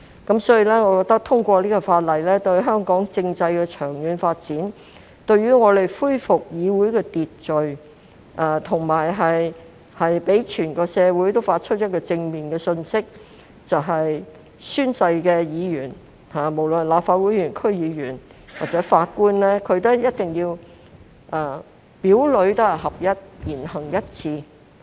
因此，我認為通過《條例草案》有利香港政制的長遠發展，有助恢復議會的秩序，並向整個社會發出一個正面信息，就是宣誓的議員，無論是立法會議員、區議員或法官，一定要表裏合一、言行一致。